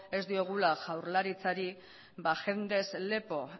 ez diogula jaurlaritzari jendez lepo